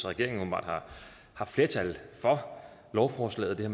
regeringen åbenbart har flertal for lovforslaget det